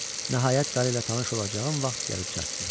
Nəhayət, qarı ilə tanış olacağım vaxt gəlib çatdı.